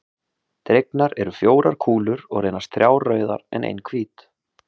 Dregnar eru fjórar kúlur og reynast þrjár rauðar en ein hvít.